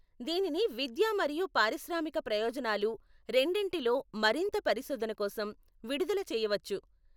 దీనిని విద్యా మరియు పారిశ్రామిక ప్రయోజనాలు రెండింటిలో మరింత పరిశోధన కోసం విడుదల చేయవచ్చు.